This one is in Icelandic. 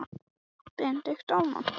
Brynleifur, áttu tyggjó?